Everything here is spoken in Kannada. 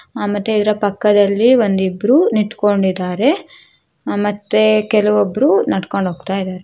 ಆ ಮತ್ತೆ ಇವರ ಪಕ್ಕದಲ್ಲಿ ಒಂದು ಇಬ್ಬರೂ ನಿಂತುಕೊಂಡಿದ್ದಾರೆ ಕೆಲವಬ್ಬರೂ ನಡೆದುಕೊಂಡು ಹೂಕ್ತ ಇದ್ದಾರೆ.